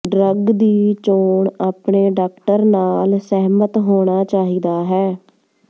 drug ਦੀ ਚੋਣ ਆਪਣੇ ਡਾਕਟਰ ਨਾਲ ਸਹਿਮਤ ਹੋਣਾ ਚਾਹੀਦਾ ਹੈ